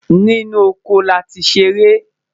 inú ọkọ láti ló seré